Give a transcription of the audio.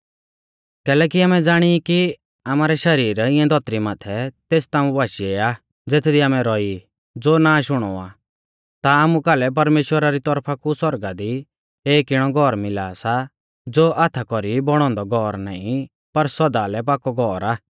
कैलैकि आमै ज़ाणी ई कि आमारै शरीर इऐं धौतरी माथै तेस ताम्बु बाशीऐ आ ज़ेथदी आमै रौई ज़ो नाष हुणौ आ ता आमु कालै परमेश्‍वरा री तौरफा कु सौरगा दी एक इणौ घौर मिला सा ज़ो हाथा कौरी बौणौ औन्दौ घौर नाईं पर सौदा लै पाकौ घौर आ